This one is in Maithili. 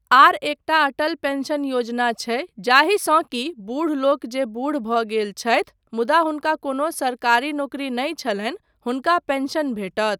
आर एकटा अटल पेंशन योजना छै जाहिसँ कि बूढ लोक जे बूढ भऽ गेल छथि मुदा हुनका कोनो सरकारी नौकरी नहि छलनि, हुनका पेंशन भेटत।